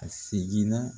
A seginna